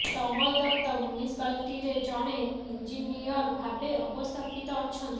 ତମଲ ଦତ୍ତ ମୁନ୍ୟୁସିପାଲିଟିରେ ଜଣେ ଇଞ୍ଜିନିୟର ଭାବେ ଅବସ୍ଥାପିତ ଅଛନ୍ତି